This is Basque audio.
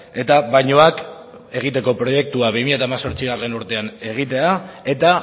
eta bainuak egiteko proiektua bi mila hemezortzigarrena urtean egitea eta